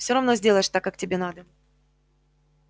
все равно сделаешь так как тебе надо